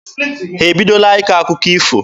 Ha ebidola ịkọ akụkọ ifo?